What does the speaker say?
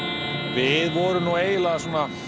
við vorum nú eiginlega